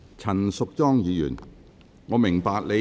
陳淑莊議員，你有甚麼問題？